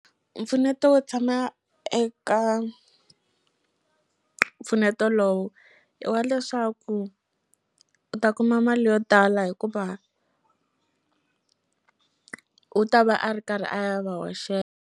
Mpfuneto wo tshama eka mpfuneto lowu i wa leswaku u ta kuma mali yo tala hikuva u ta va a ri karhi a va .